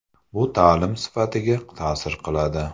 Bu ta’lim sifatiga ta’sir qiladi.